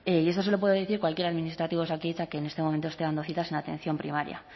y eso se lo puede decir cualquier administrativo de osakidetza que en este momento esté dando citas en atención primaria